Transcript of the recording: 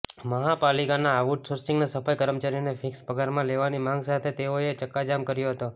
મહાપાલિકાના out સોર્સિંગના સફાઈ કર્મચારીઓને ફિક્સ પગારમાં લેવાની માંગ સાથે તેઓએ ચક્કાજામ કર્યો હતો